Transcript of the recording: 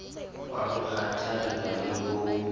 wa ho kgathalla le ho